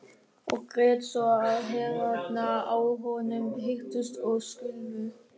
Og grét svo að herðarnar á honum hristust og skulfu.